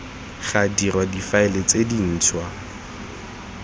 ga dirwa difaele tse dintshwa